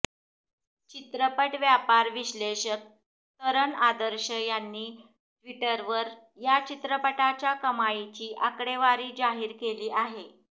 चित्रपट व्यापार विश्लेषक तरण आदर्श यांनी ट्विटरवर या चित्रपटाच्या कमाईची आकडेवारी जाहीर केली आहे